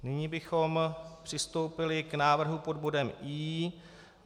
Nyní bychom přistoupili k návrhu pod bodem I.